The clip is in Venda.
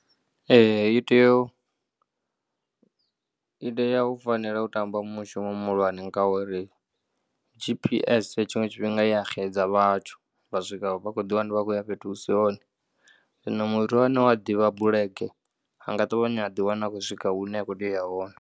Ee, i tea, i tea u fanela u tamba mushumo muhulwane ngauri GPS tshiṅwe tshifhinga ya xedza vhathu vha swika vha kho ḓiwana vha khou ya fhethu hu si hone. Zwino muthu ane u ya ḓivha bulege a nga ṱavhanya a ḓiwana a khou swika hune ya khou tea u ya hone.